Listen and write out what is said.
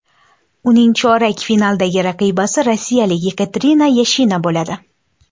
Uning chorak finaldagi raqibasi rossiyalik Yekaterina Yashina bo‘ladi.